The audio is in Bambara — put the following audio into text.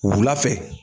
Wula fɛ